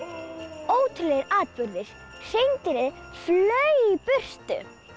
ótrúlegir atburðir hreindýrið flaug í burtu